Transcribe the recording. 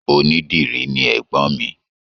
Onídìrí ni ẹ̀gbọ́n mi.